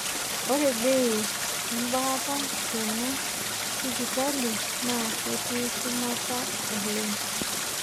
Ore bei embaata tena sipitali naa ketii shumata oleng.